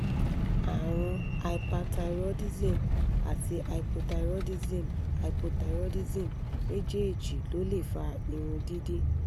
àrùn hyperthyroidism àti hypothyroidism hypothyroidism méjèèjì ló lè fa irun dídì